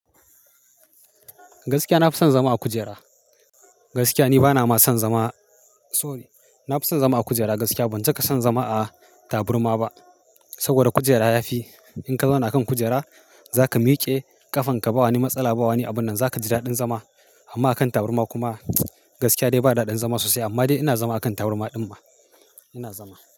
Gaskiya na fi son zama a kujera. Gaskiya ni bana ma son zama-- sorry, na fi son zama a kujera gaskiya. Ban cika son zama a taburma ba saboda kujera ya fi. In ka zauna kan kujera za ka miƙe ƙafanka ba wani matsala, ba wani abun nan. Za ka ji daɗin zama amma a kan taburma kuma gaskiya dai ba daɗin zama sosai. Amma dai ina zama a kan taburma ɗin ma, ina zama.